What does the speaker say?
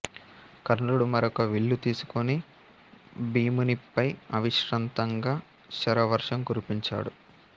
కర్ణుడు మరొక విల్లు తీసుకుని భీమునిపై అవిశ్రాంతంగా శరవర్షం కురిపించాడు